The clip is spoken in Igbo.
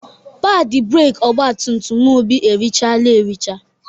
Padị breeki ọgbatumtum Obi erichaala ericha.